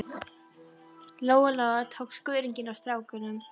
Lóa Lóa og tók skörunginn af stráknum.